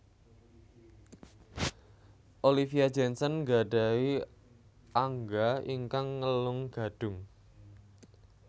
Olivia Jensen nggadhahi angga ingkang ngelung gadhung